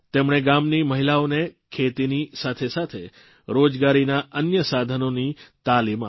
તેમણે ગામની મહિલાઓને ખેતીની સાથેસાથે રોજગારીના અન્ય સાધનોની તાલીમ આપી